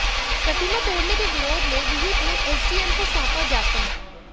प्रतिमा तोडऩे के विरोध में विहिप ने एसडीएम को सौंपा ज्ञापन